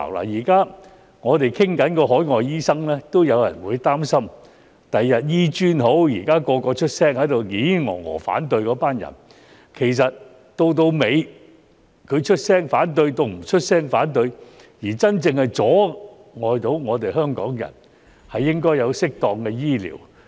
現時我們討論海外醫生，已有人擔心日後香港醫學專科學院的情況，無論現在嘮嘮叨叨地出聲反對的人，到最後出聲反對與否，這都會阻礙香港人享有適當的醫療。